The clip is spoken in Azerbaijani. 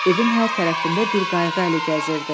Evin hər tərəfində bir qayğı əli gəzirdi.